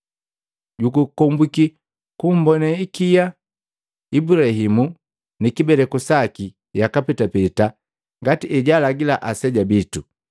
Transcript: Jukombwiki kumbone hikia Ibulahimu ni kibeleku saki yaka petapeta ngati ejalagila aseja bitu!”